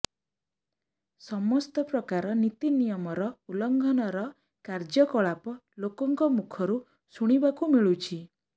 ସମସ୍ତ ପ୍ରକାର ନୀତି ନିୟମ ର ଉଲଂଘନ ର କାର୍ଯ୍ୟ କଳାପ ଲୋକଙ୍କ ମୁଖରୁ ଶୁଣିବାକୁ ମିଳୁଛି